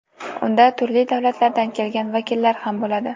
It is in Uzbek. Unda turli davlatlardan kelgan vakillar ham bo‘ladi.